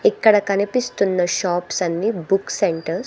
ఇక్కడ కనిపిస్తున్న షాప్స్ అన్ని బుక్స్ సెంటర్స్ .